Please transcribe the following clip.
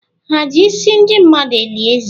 Ha eji isi ndị mmadụ eli eze?